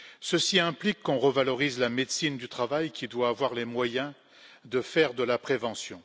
Ceci implique qu'on revalorise la médecine du travail, qui doit avoir les moyens de faire de la prévention.